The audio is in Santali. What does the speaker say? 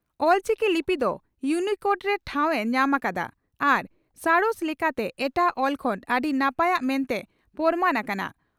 ᱚᱞᱪᱤᱠᱤ ᱞᱤᱯᱤ ᱫᱚ ᱭᱩᱱᱤᱠᱳᱰ ᱨᱮ ᱴᱷᱟᱣ ᱮ ᱧᱟᱢᱟᱠᱟᱫᱼᱟ ᱟᱨ ᱥᱟᱬᱮᱥ ᱞᱮᱠᱟᱛᱮ ᱮᱴᱟᱜ ᱚᱞ ᱠᱷᱚᱱ ᱟᱹᱰᱤ ᱱᱟᱯᱟᱭᱟᱜ ᱢᱮᱱᱛᱮ ᱯᱚᱨᱢᱟᱱ ᱟᱠᱟᱱᱟ ᱾